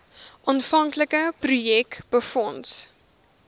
aanvanklike projek befonds